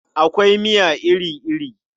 Akwai miya iri-iri.